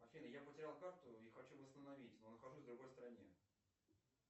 афина я потерял карту и хочу восстановить но нахожусь в другой стране